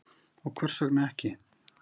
Og hvers vegna ekki?